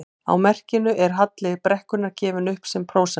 Á merkinu er halli brekkunnar gefinn upp sem prósenta.